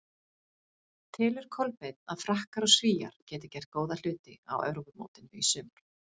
Telur Kolbeinn að Frakkar og Svíar geti gert góða hluti á Evrópumótinu í sumar?